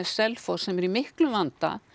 Selfoss sem eru í miklum vanda